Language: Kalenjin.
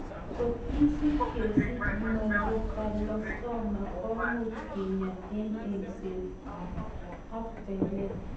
Kot isib kesich medulloblastoma , komuch kinya en eng'set ak belet.